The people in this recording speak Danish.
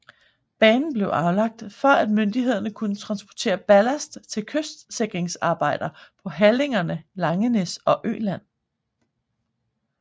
Banen blev anlagt for at myndighederne kunne transportere ballast til kystsikringsarbejder på halligerne Langenæs og Øland